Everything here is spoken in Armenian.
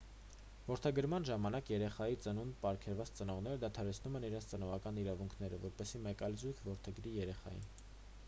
որդեգրման ժամանակ երեխային ծնունդ պարգևած ծնողները դադարեցնում են իրենց ծնողական իրավունքները որպեսզի մեկ այլ զույգ որդեգրի երեխային